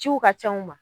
Ciw ka ca u ma